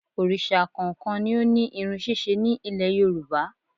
Òrìsà kọ̀ọ̀kan ni ó ní irun ṣíṣe ní Ilẹ̀ Yorùbá